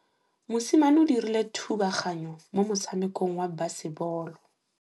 Mosimane o dirile thubaganyô mo motshamekong wa basebôlô.